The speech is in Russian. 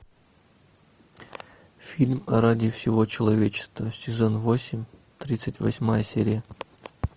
фильм ради всего человечества сезон восемь тридцать восьмая серия